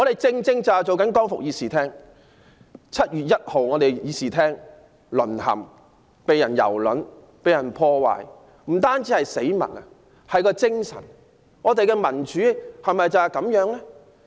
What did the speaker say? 這會議廳在7月1日淪陷，備受蹂躪，被破壞的不單是死物，還有議會的精神，民主制度是否就是如此？